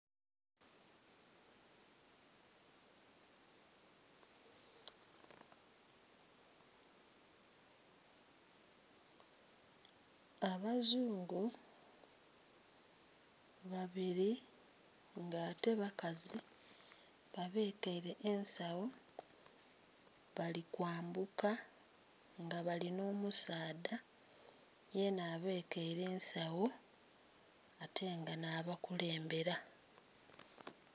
Abazungu babiri ngate bakazi babekere ensagho balikwambuka nga balinhomusaadha yena abekere ensagho ate nga nhabakulembera